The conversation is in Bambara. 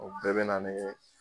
o bɛɛ bɛ na ni